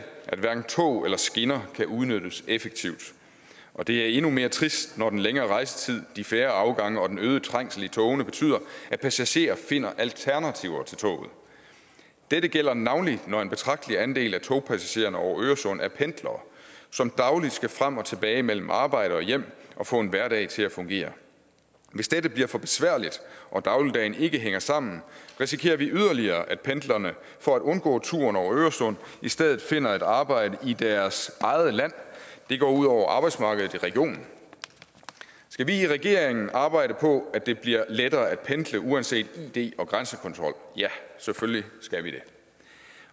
at hverken tog eller skinner kan udnyttes effektivt og det er endnu mere trist når den længere rejsetid de færre afgange og den øgede trængsel i togene betyder at passagerer finder alternativer til toget dette gælder navnlig når en betragtelig andel af togpassagererne over øresund er pendlere som dagligt skal frem og tilbage mellem arbejde og hjem og få en hverdag til at fungere hvis dette bliver for besværligt og dagligdagen ikke hænger sammen risikerer vi yderligere at pendlerne for at undgå turen over øresund i stedet finder et arbejde i deres eget land det går ud over arbejdsmarkedet i regionen skal vi i regeringen arbejde på at det bliver lettere at pendle uanset id og grænsekontrol ja selvfølgelig skal vi det